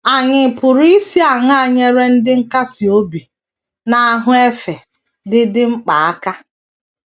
Ànyị pụrụ isi aṅaa nyere ndị nkasi obi na ahụ efe dị dị mkpa aka?